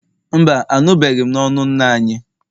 Mba, anụbeghị m n'ọnụ nna anyị